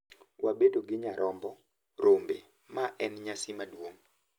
Wabedo gi nyarombo , rombe, ma en nyasi maduong'